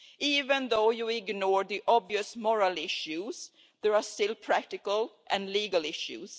Even if you ignore the obvious moral issues, there are still practical and legal issues.